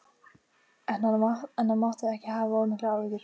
En hann mátti ekki hafa of miklar áhyggjur.